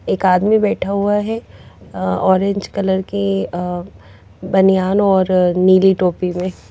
एक आदमी बैठा हुआ है अह ऑरेंज कलर के अह बनियान और नीली टोपी में।